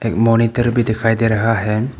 Monitor भी दिखाई दे रहा है।